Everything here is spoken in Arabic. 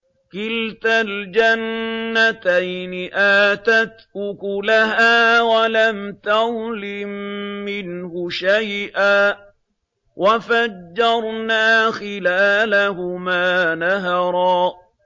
كِلْتَا الْجَنَّتَيْنِ آتَتْ أُكُلَهَا وَلَمْ تَظْلِم مِّنْهُ شَيْئًا ۚ وَفَجَّرْنَا خِلَالَهُمَا نَهَرًا